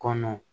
Kɔnɔ